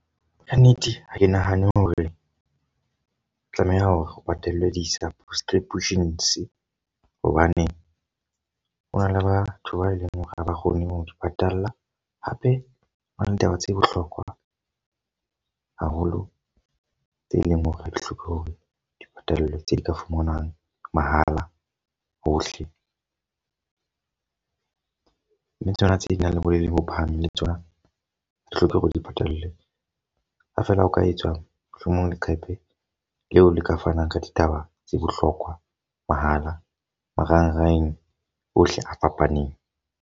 Ka nnete ha ke nahane hore tlameha hore o patale di-subscriptions hobane hona le batho ba eleng hore ha ba kgone ho di patala. Hape hona le ditaba tse bohlokwa haholo tse leng hore ha di hloke hore dipatalo tse ka fumanwang mahala hohle. Mme tsona tse nang le boleng bo phahameng le tsona ha di hloke hore di patalwe. Ha fela o ka etsa mohlomong leqephe leo le ka fanang ka dithaba tse bohlokwa mahala marangrang ohle a fapaneng.